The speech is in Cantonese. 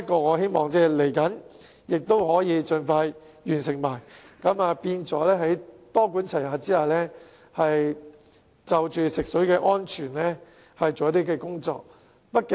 我希望接下來可以盡快完成審議，多管齊下就食水安全進行工作。